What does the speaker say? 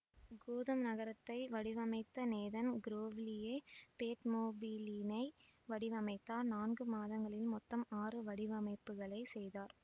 Gotham நகரத்தை வடிவமைத்த Nathan கிரோவ்லியே பேட்மொபிலினை வடிவமைத்தார் நான்கு மாதங்களில் மொத்தம் ஆறு வடிவமைப்புகளை செய்தார்